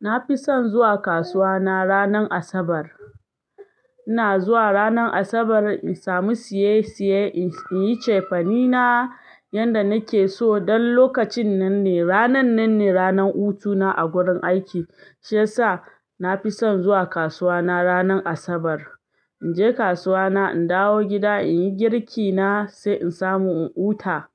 Na fi son zuwa kasuwa na ranar Asabar. Ina zuwa ranar Asabar in samu siye siye, in yi cefane na yanda nake so. Don lokacin nan ne, ranan nan ne ranan hutuna a gurin aiki shiyasa na fi son zuwa kasuwa na ranar Asabar. In je kasuwa na in dawo gida in yi girki na sai in samu in huta